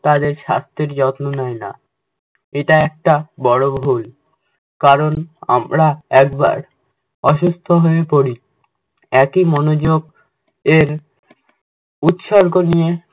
তাদের সাস্থ্যের যত্ন নেয় না। এটা একটা বড়ো ভুল, কারণ আমরা একবার অসুস্থ হয়ে পরি একই মনোযোগ এর উৎসর্গ নিয়ে